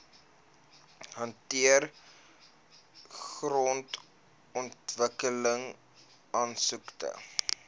hanteer grondontwikkeling aansoeke